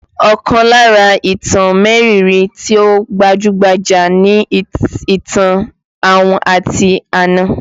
Ọkàn lára ìtàn mériìírí tí ó gbajú-gbajà ni ìtàn ahun àti àna